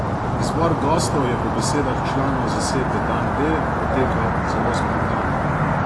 Izbor gostov je po besedah članov zasedbe Dan D potekal zelo spontano.